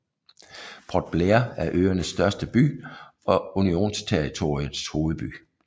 Port Blair er øernes største by og unionsterritoriets hovedby